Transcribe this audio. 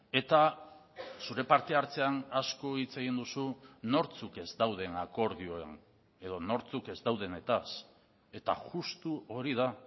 eta zure parte hartzean asko hitz egin duzu nortzuk ez dauden akordioen edo nortzuk ez daudenetaz eta justu hori da